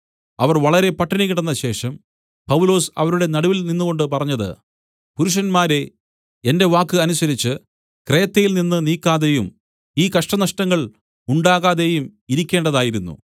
അവർ വളരെ പട്ടിണി കിടന്നശേഷം പൗലോസ് അവരുടെ നടുവിൽ നിന്നുകൊണ്ടു പറഞ്ഞത് പുരുഷന്മാരേ എന്റെ വാക്ക് അനുസരിച്ചു ക്രേത്തയിൽനിന്ന് നീക്കാതെയും ഈ കഷ്ടനഷ്ടങ്ങൾ ഉണ്ടാകാതെയും ഇരിക്കേണ്ടതായിരുന്നു